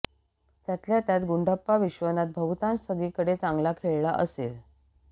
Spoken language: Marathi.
त्यातल्या त्यात गुंडाप्पा विश्वनाथ बहुतांश सगळीकडे चांगला खेळला असेल